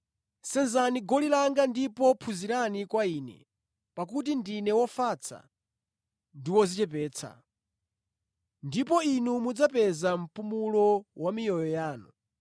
Senzani goli langa ndipo phunzirani kwa Ine, pakuti ndine wofatsa ndi wodzichepetsa. Ndipo inu mudzapeza mpumulo wa miyoyo yanu.